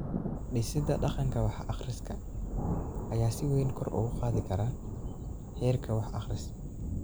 Dhisida dhaqanka wax-akhriska ayaa si weyn kor ugu qaadi kara heerka wax-akhris.